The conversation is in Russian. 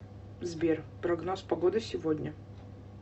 сбер прогноз погоды сегодня